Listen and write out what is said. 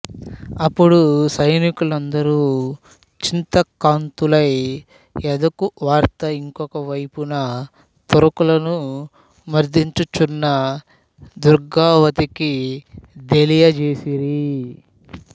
అప్పుడు సైనికు లందరు చింతాక్రాంతులై యాదుఖవార్త యింకొకవైపున తురకలను మర్దించుచున్న దుర్గావతికి దెలియజేసిరి